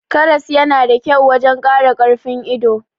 Karas yana da kyau wajan Kara karfin ido